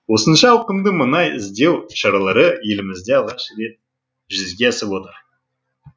осынша ауқымды мұнай іздеу шаралары елімізде алғаш рет жүзеге асып отыр